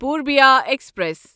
Purbiya express